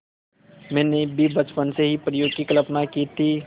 मैंने भी बचपन से परियों की कल्पना की थी